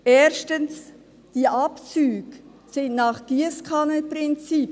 Erstens: Diese Abzüge erfolgen nach dem Giesskannenprinzip.